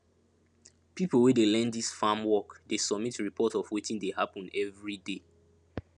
pipo wey dey learn dis farm work dey submit report of wetin dey happen everyday